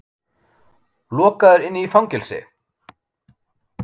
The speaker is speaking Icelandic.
Lokaður inni í fangelsi!